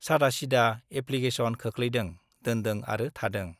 सादासिदा application खोख्लैदों , दोनदों आरो थादों ।